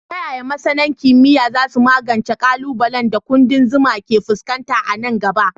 Ta yaya masana kimiyya za su magance ƙalubalen da ƙudan zuma ke fuskanta a nan gaba?